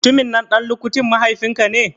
Mutumin nan ɗan lukutin mahaifin ka ne?